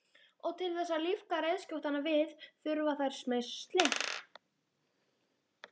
Og til þess að lífga reiðskjótana við þurfa þær smyrsli.